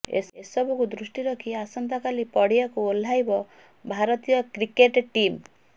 ଏସବୁକୁ ଦୃଷ୍ଟି ରଖି ଆସନ୍ତା କାଲି ପଡ଼ିଆକୁ ଓହ୍ଲାଇବ ଭାରତୀୟ କ୍ରିକେଟ ଟିମ୍